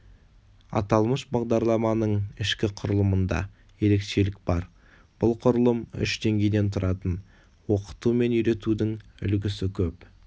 аталмыш бағдарламаның ішкі құрылымында ерекшелік бар бұл құрылым үш деңгейден тұратын оқыту мен үйретудің үлгісі көп